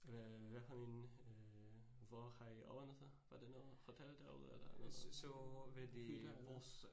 Øh hvad for en, øh hvor har I overnattet, var det noget hotel derude eller noget hytte eller?